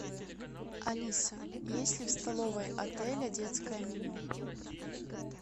алиса есть ли в столовой отеля детское меню